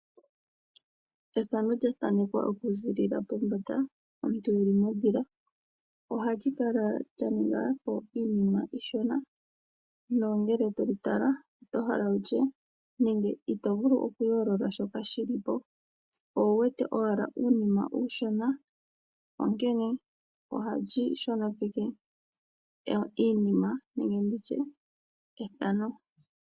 Ethano lya thanekwa okuziilila mombanda, omuntu e li mondhila ohali kala lya ninga po iinima iishona nongele to li tala ito vulu okuyoolola shoka shi li po. Owu wete owala uunima uushona, onkene ohali shonopekitha iinima nenge ethano.